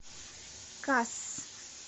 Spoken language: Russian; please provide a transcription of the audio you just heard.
кас